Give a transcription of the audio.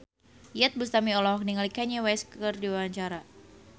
Iyeth Bustami olohok ningali Kanye West keur diwawancara